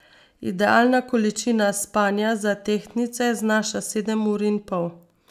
Idealna količina spanja za tehtnice znaša sedem ur in pol.